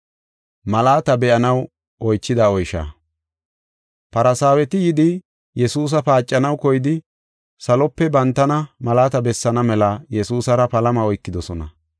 Farsaaweti yidi Yesuusa paacanaw koyidi, salope bantana malaata bessaana mela Yesuusara palama oykidosona.